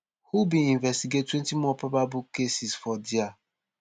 who bin investigate twenty more probable cases for dia